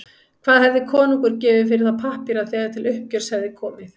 Hvað hefði konungur gefið fyrir þá pappíra þegar til uppgjörs hefði komið?